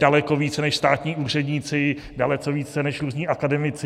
Daleko více než státní úředníci, daleko více než různí akademici.